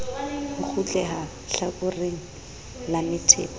ho kgutleha hlakoreng la methepa